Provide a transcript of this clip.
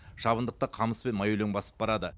шабындықты қамыс пен майөлең басып барады